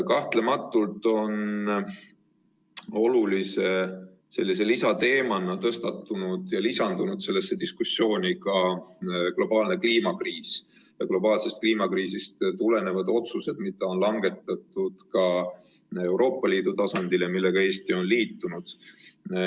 Kahtlemata on olulise lisateemana tõstatunud ja lisandunud sellesse diskussiooni globaalne kliimakriis ja globaalsest kliimakriisist tulenevad otsused, mida on langetatud ka Euroopa Liidu tasandil ja millega Eesti on liitunud.